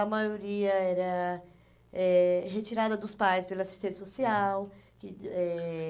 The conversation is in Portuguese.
A maioria era eh retirada dos pais pela assistente social. Que eh